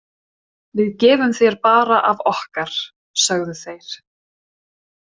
Við gefum þér bara af okkar, sögðu þeir.